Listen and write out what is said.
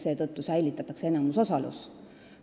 Seetõttu jääb enamusosalus riigile.